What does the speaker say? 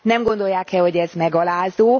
Nem gondolják e, hogy ez megalázó?